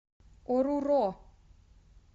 оруро